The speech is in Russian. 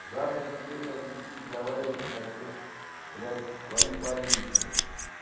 завтра тебе блядь идти договариваться на счёт блядь твоих больничных